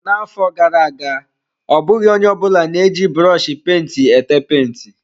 Na-afọ gara aga, ọ bụghị onye ọ bụla na-eji brọshi penti ete penti.